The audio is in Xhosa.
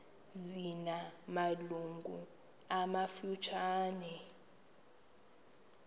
zina malungu amafutshane